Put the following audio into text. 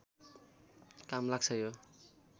काम लाग्छ यो